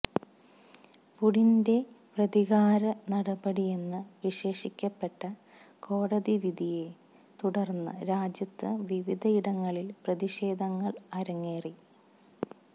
പുടിന്റെ പ്രതികാര നടപടിയെന്നു വിശേഷിക്കപ്പെട്ട കോടതി വിധിയെ തുടര്ന്ന് രാജ്യത്ത് വിവിധയിടങ്ങളില് പ്രതിഷേധങ്ങള് അരങ്ങേറി